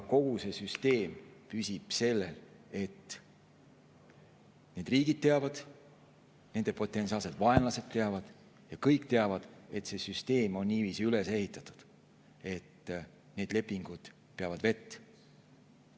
Kogu see süsteem püsib sellel, et need riigid teavad, nende potentsiaalsed vaenlased teavad ja kõik teavad, et see süsteem on niiviisi üles ehitatud, et need lepingud peavad vett.